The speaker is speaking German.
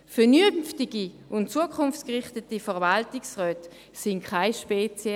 Vernünftige und zukunftsorientierte Verwaltungsräte sind keine rare Spezies.